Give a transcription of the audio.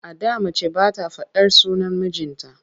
A da mace ba ta faɗar sunan mijinta.